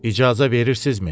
İcazə verirsizmi?